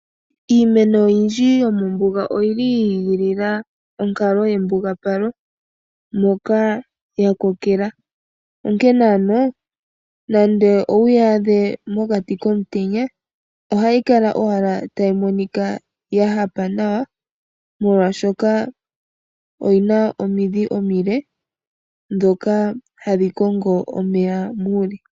Iimeno oyindji yomombuga oyili yi igilila onkalo yembugapalo, moka ya kokela. Onke ano nande owuyi adhe mokati komutenya, ohayi kala owala tayi monika ya hapa nawa, molwashoka oyina omidhi omile dhoka hadhi kongo omeya muule.